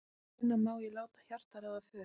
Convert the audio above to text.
Hvenær má ég láta hjartað ráða för?